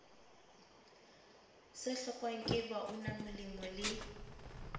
se hlokwang ke baunamolemo le